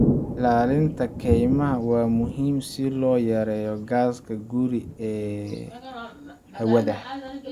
Ilaalinta kaymaha waa muhiim si loo yareeyo gaaska guri ee hawada.